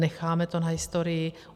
Necháme to na historii.